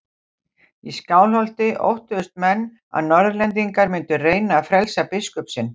Í Skálholti óttuðust menn að Norðlendingar mundu reyna að frelsa biskup sinn.